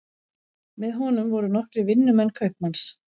Með honum voru nokkrir vinnumenn kaupmanns.